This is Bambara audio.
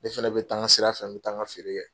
Ne fɛnɛ be taa n ka sira fɛ, n be taa n ka feere kɛ.